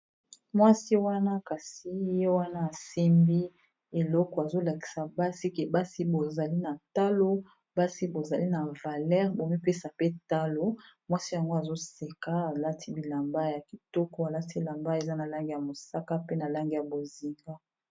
Mwasi wana kasi ye wana asembi eleko azolakisa basi ke basi bozali na talo basi bozali na valere bomipesa pe talo mwasi yango azoseka alati bilamba ya kitoko, alati ilamba eza na lange ya mosaka pe na langi ya boziga.